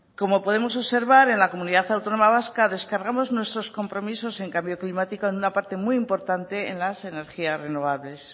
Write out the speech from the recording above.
como podemos observar en la comunidad autónoma vasca descargamos nuestros compromisos en cambio climático en una parte muy importante en las energías renovables